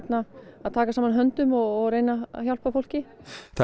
að taka saman höndum og reyna að hjálpa fólki það eru